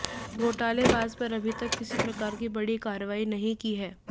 घोटालेबाज पर अभीतक किसी प्रकार की बड़ी कार्रवाई नहीं की है